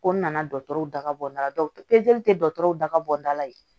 Ko n nana dɔtɔrɔw daga bɔda la dɔw tɛ dɔgɔtɔrɔw daga bɔn da la